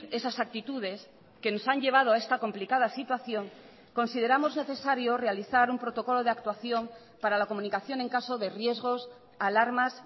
esas actitudes que nos han llevado a esta complicada situación consideramos necesario realizar un protocolo de actuación para la comunicación en caso de riesgos alarmas